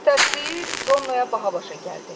Tərsliyi Ronoya baha başa gəldi.